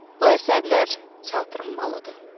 Bu əsərlər teatr olmalıdır.